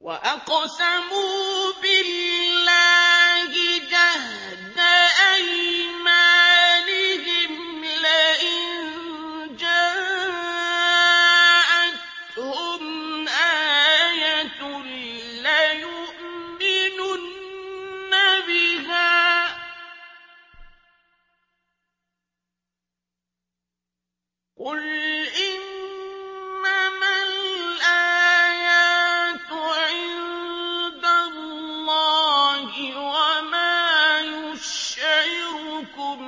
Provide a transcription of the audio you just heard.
وَأَقْسَمُوا بِاللَّهِ جَهْدَ أَيْمَانِهِمْ لَئِن جَاءَتْهُمْ آيَةٌ لَّيُؤْمِنُنَّ بِهَا ۚ قُلْ إِنَّمَا الْآيَاتُ عِندَ اللَّهِ ۖ وَمَا يُشْعِرُكُمْ